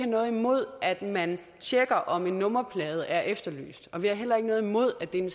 noget imod at man tjekker om en nummerplade er efterlyst og vi har heller ikke noget imod at det er en